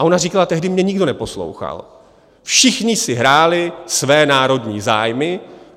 A ona říkala: tehdy mě nikdo neposlouchal, všichni si hráli své národní zájmy.